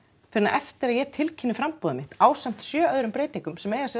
fyrr en eftir að ég tilkynni framboðið mitt ásamt sjö öðrum breytingum sem eiga sér